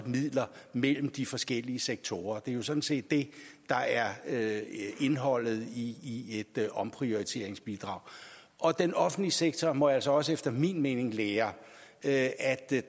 midler mellem de forskellige sektorer det er jo sådan set det der er indholdet i et omprioriteringsbidrag og den offentlige sektor må altså også efter min mening lære at